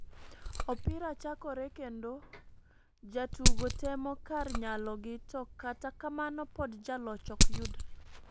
Opira chakore kendo ,jotugo temo kar nyalo gi to kata kamano pod jaloch ok yudre.